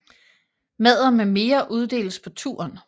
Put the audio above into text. Madder med mere uddeles på turen